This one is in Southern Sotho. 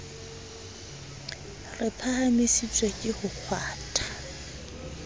re phahamisitswe ke ho kgwathwa